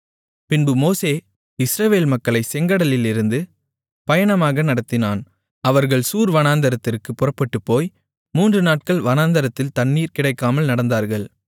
பின்பு மோசே இஸ்ரவேல் மக்களைச் செங்கடலிலிருந்து பயணமாக நடத்தினான் அவர்கள் சூர் வனாந்திரத்திற்குப் புறப்பட்டுப்போய் மூன்று நாட்கள் வனாந்திரத்தில் தண்ணீர் கிடைக்காமல் நடந்தார்கள்